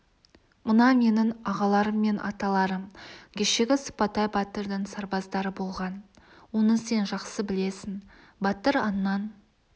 мына менің ағаларым мен аталарым кешегі сыпатай батырдың сарбаздары болған оны сен жақсы білесің батыр аңнан